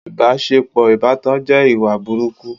ìbáṣepọ̀ ìbátan jẹ́ ìwà burúkú.